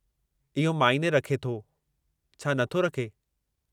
इहो माइने रखो थो, छा नथो रखे?